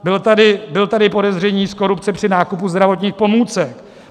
Bylo tady podezření z korupce při nákupu zdravotních pomůcek.